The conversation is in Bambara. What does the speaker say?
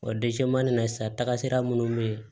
O na sisan taga minnu bɛ yen